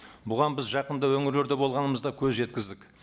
бұған біз жақында өңірлерде болғанымызда көз жеткіздік